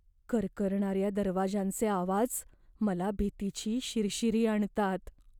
करकरणाऱ्या दरवाजांचे आवाज मला भीतीची शिरशिरी आणतात.